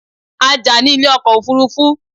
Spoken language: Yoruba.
A jà ní ilé ọkọ̀ òfurufú